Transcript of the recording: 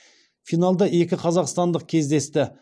финалда екі қазақстандық кездесті